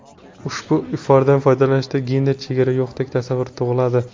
Ushbu ifordan foydalanishda gender chegara yo‘qdek tasavvur tug‘iladi.